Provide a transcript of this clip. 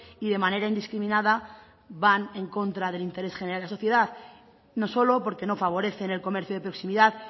y de manera indiscriminada van en contra del interés general de la sociedad no solo porque no favorecen el comercio de proximidad